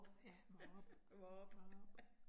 Ja, Vorup. Vorup